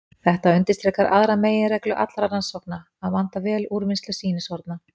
Þetta undirstrikar aðra meginreglu allra rannsókna: að vanda vel úrvinnslu sýnishorna.